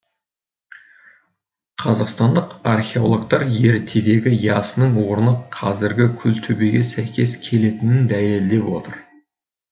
қазақстандық археологтар ертедегі ясының орны қазіргі күлтөбеге сәйкес келетінін дәлелдеп отыр